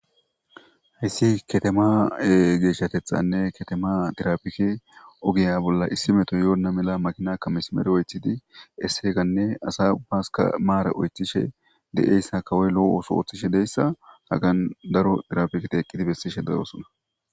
Haysi katama geshatethanne katama tirapike oge bolla issi metoy Yona mala makinaka mesimere oythidi as ubbaska mara oythishe de'iyasa kawoy lo'o oso othishe de'izasa han daro tirapiketi eqidi besishe de'osona